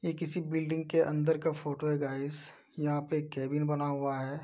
ये किसी बिल्डिंग के अंदर का फोटो है गाइस यहां पे एक केबिन बना हुआ है।